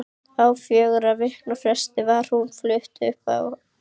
Á fjögurra vikna fresti var hún flutt upp um hæð.